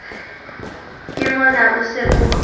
ke mona o se o